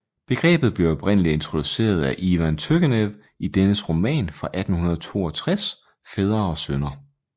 Begrebet blev oprindeligt introduceret af Ivan Turgenev i dennes roman fra 1862 Fædre og sønner